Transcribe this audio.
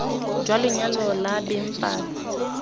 jwa lenyalo la beng palo